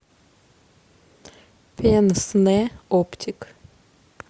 пенснэ оптик